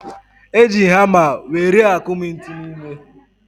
Eji hama were akụmi ntu n'ime